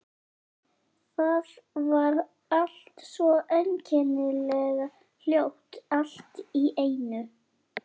Það var allt svo einkennilega hljótt allt í einu.